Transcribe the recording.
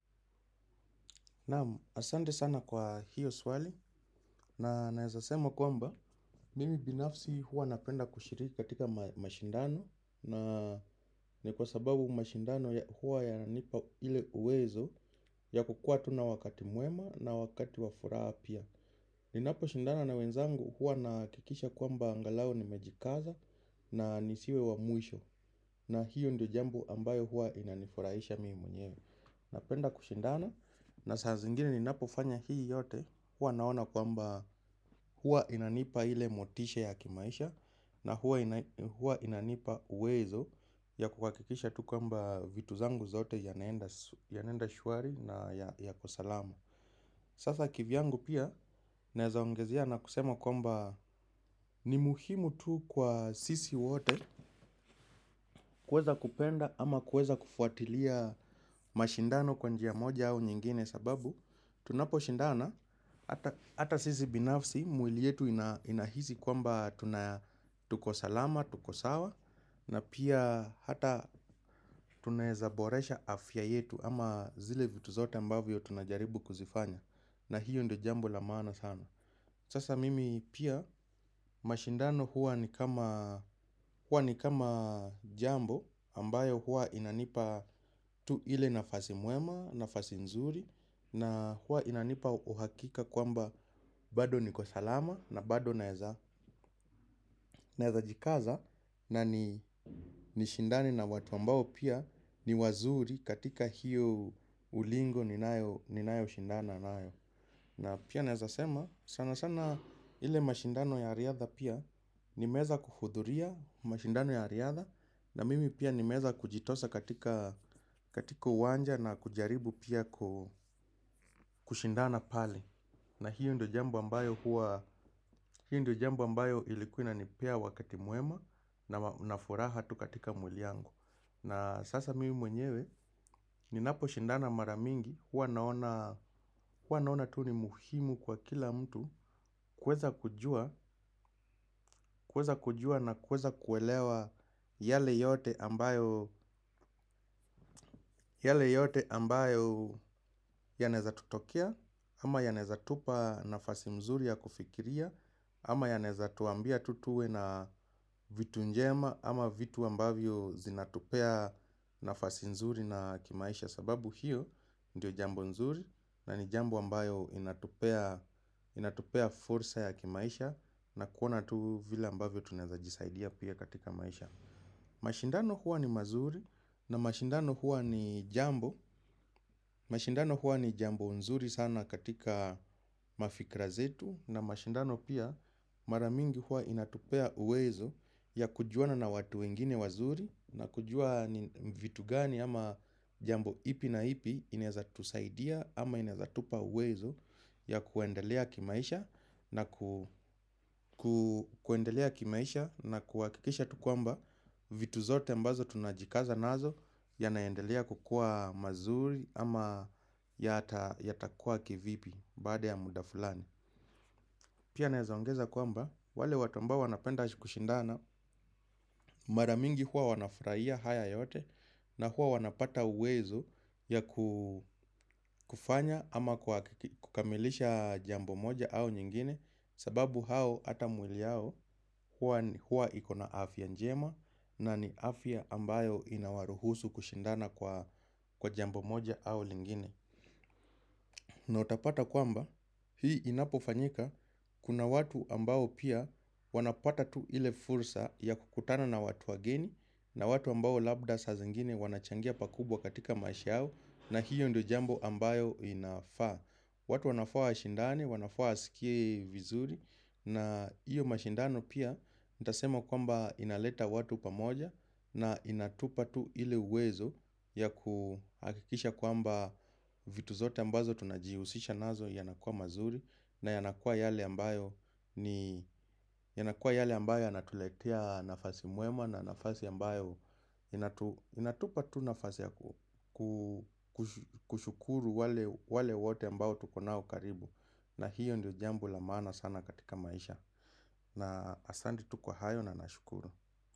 Naamu, asante sana kwa hiyo swali na naeza sema kwamba mimi binafsi huwa napenda kushiriki katika mashindano na ni kwa sababu mashindano huwa yananipa ile uwezo ya kuwa tu na wakati mwema na wakati wa furaha pia. Ninaposhindana na wenzangu huwa nahakikisha kwamba angalau nimejikaza na nisiwe wa mwisho na hiyo ndio jambo ambayo huwa inanifurahisha mimi mwenyewe. Napenda kushindana na saa zingine ninapofanya hii yote huwa naona kwamba huwa inanipa ile motisha ya kimaisha. Na huwa inanipa uwezo ya kuhakikisha tu kwamba vitu zangu zote ya naenda shwari na yako salama. Sasa kivyangu pia neaza ongezea na kusema kwamba ni muhimu tu kwa sisi wote. Kuweza kupenda ama kuweza kufuatilia mashindano kwa njia moja au nyingine sababu tunapo shindana hata sisi binafsi mwili yetu inahisi kwamba tuko salama, tuko sawa. Na pia hata tunaeza boresha afya yetu ama zile vitu zote ambavyo tunajaribu kuzifanya. Na hiyo ndo jambo la maana sana. Sasa mimi pia mashindano huwa ni kama jambo ambayo huwa inanipa tu ile nafasi mwema, nafasi nzuri na huwa inanipa uhakika kwamba bado niko salama na bado naeza. Naeza jikaza na ni shindane na watu ambao pia ni wazuri katika hiyo ulingo ninayo shindana nayo na pia naeza sema sana sana ile mashindano ya riadha pia nimweza kuhudhuria mashindano ya riadha. Na mimi pia ni meweza kujitosa katika uwanja na kujaribu pia kushindana pale, na hiyo ndo jambo ambayo huwa hiyo ndio jambo ambayo ilikuwa inanipea wakati mwema na furaha tu katika mwili yangu. Na sasa mimi mwenyewe ninapo shindana mara mingi hua naona tu ni muhimu kwa kila mtu kuweza kujua na kuweza kuelewa yale yote ambayo yanaeza tutokea ama yanaeza tupa nafasi mzuri ya kufikiria. Ama yanaeza tuambia tu tuwe na vitu njema ama vitu ambavyo zinatupea nafasi nzuri na kimaisha. Sababu hiyo ndio jambo nzuri na ni jambo ambayo inatupea inatupea fursa ya kimaisha. Na kuona tu vile ambavyo tunaeza jisaidia pia katika maisha. Mashindano huwa ni mazuri. Na mashindano huwa ni jambo. Mashindano huwa ni jambo nzuri sana katika mafikra zetu na mashindano pia mara mingi huwa inatupea uwezo ya kujuana na watu wengine wazuri na kujua vitu gani ama jambo ipi na ipi inaeza tusaidia ama inaeza tupa uwezo ya kuendelea kimaisha na kuendelea kimaisha na kuhakikisha tu kwamba vitu zote mbazo tunajikaza nazo yanaendelea kukua mazuri ama yata kuwa kivipi. Baada ya muda fulani. Pia naeza ongeza kwamba wale watu ambao wanapenda kushindana. Maramingi hua wanafurahia haya yote. Na huwa wanapata uwezo ya kufanya ama kukamilisha jambo moja au nyingine. Sababu hao hata mwili yao huwa iko na afya njema. Na ni afya ambayo inawaruhusu kushindana. Kwa jambo moja au liingine. Na utapata kwamba hii inapo fanyika kuna watu ambao pia wanapata tu ile fursa ya kukutana na watu wageni na watu ambao labda saa zingine wanachangia pakubwa katika maisha yao na hiyo ndo jambo ambayo inafaa. Watu wanafaa washindane, wanafaa wasikie vizuri. Na iyo mashindano pia, nitasema kwamba inaleta watu pamoja. Na inatupa tu ile uwezo ya kuhakikisha kwamba vitu zote ambazo tunajihusisha nazo yanakwa mazuri. Na yanakuwa yale ambayo, yanakuwa yale ambayo yanatuletea nafasi mwema. Na nafasi ambayo inatupa tu nafasi ya kushukuru wale wote ambao tukonao karibu. Na hiyo ndio jambo la maana sana katika maisha. Na asante tu kwa hayo na nashukuru.